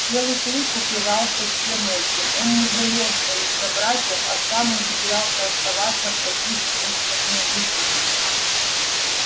белый клык упивался всем этим он не жалел своих собратьев а сам ухитрялся оставаться в таких стычках невредимым